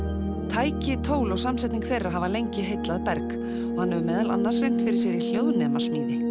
tæki tól og samsetning þeirra hafa lengi heillað Berg og hann hefur meðal annars reynt fyrir sér í hljóðnemasmíði